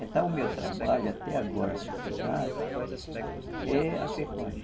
Então, o meu trabalho até agora com essa idade é a pecuária.